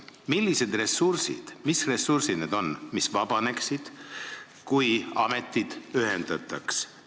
Millised ressursid need on, mis vabaneksid, kui ametid ühendataks?